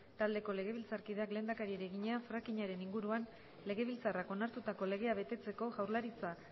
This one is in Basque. taldeko legebiltzarkideak lehendakariari egina frackingaren inguruan legebiltzarrak onartutako legea betetzeko jaurlaritza